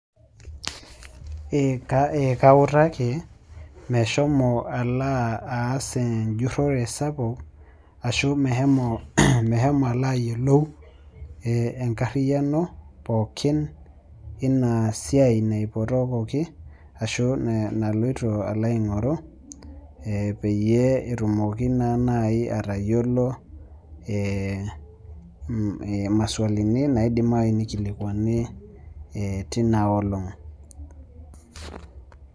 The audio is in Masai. Kautaki meshomo alo aas enhurore ashu meshomo ayiolou enkariano inasiai naipotokoki ashu inasiai naloito aingoru peyie etumoki naa nai atayiolo maswalini naidim nai nikilikwanuni tina olong.